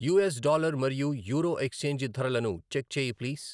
US dollar మరియు euro exchange ధరలను check చెయ్యి ప్లీజ్.